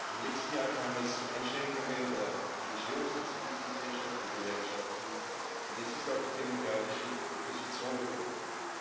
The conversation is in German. Im letzten Jahr kam es zu Einschränkungen der NGOs, der Zivilgesellschaft, der Gewerkschaften, und jetzt ist auch die demokratische Opposition betroffen.